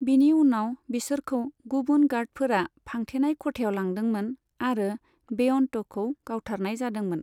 बिनि उनाव बिसोरखौ गुबुन गार्डफोरा फांथेनाय खथायाव लांदोंमोन आरो बेअन्तखौ गावथारनाय जादोंमोन।